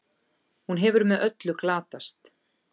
Hún hefur með öllu glatast.